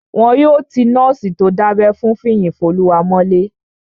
Wọn yóò ti nọ́ọ̀sì tó dábẹ́ fún Fiyinfoluwa mọ́lé